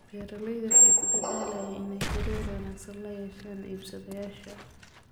Beeraleydu waxay ku dadaalaan inay xiriir wanaagsan la yeeshaan iibsadayaasha.